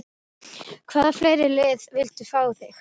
Hvaða fleiri lið vildu fá þig?